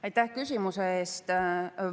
Aitäh küsimuse eest!